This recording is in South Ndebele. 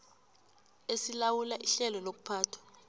esilawula ihlelo lokuphathwa